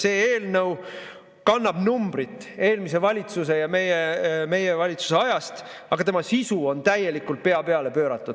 See eelnõu kannab numbrit eelmise valitsuse, meie valitsuse ajast, aga tema sisu on täielikult pea peale pööratud.